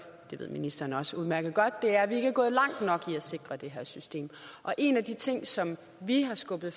det ved ministeren også udmærket godt er at vi ikke er gået langt nok i at sikre det her system og en af de ting som vi har skubbet